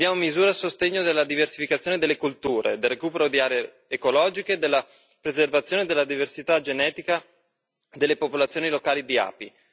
Chiediamo misure a sostegno della diversificazione delle colture, del recupero di aree ecologiche, della preservazione della diversità genetica delle popolazioni locali di api.